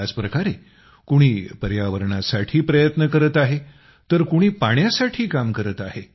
याच प्रकारे कुणी पर्यावरणासाठी प्रयत्न करत आहे तर कुणी पाण्यासाठी काम करत आहे